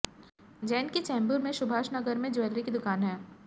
जैन की चेम्बूर में सुभाष नगर में जूलरी की दुकान है